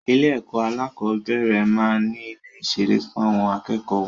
Ilé ẹ̀kọ́ alákọ̀bẹ́rẹ̀ maá n ni ilé ìṣeré fún àwọn akẹ́kọ̀ọ́ wọn